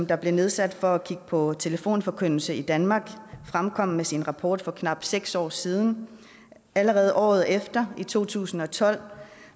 der blev nedsat for at kigge på telefonforkyndelse i danmark fremkom med sin rapport for knap seks år siden allerede året efter i to tusind og tolv